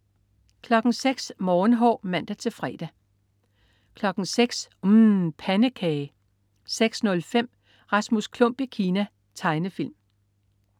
06.00 Morgenhår (man-fre) 06.00 UMM. Pandekage 06.05 Rasmus Klump i Kina. Tegnefilm